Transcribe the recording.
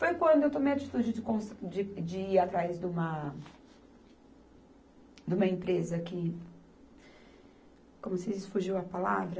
Foi quando eu tomei a atitude de cons, de, de ir atrás de uma De uma empresa que Como se diz, fugiu a palavra